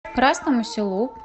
красному селу